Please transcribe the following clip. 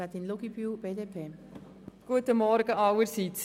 Ich komme noch mit einigen Zahlen.